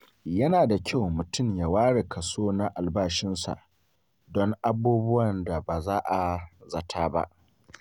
Yana da kyau mutum ya ware kaso na albashinsa don abubuwan da ba a zata ba.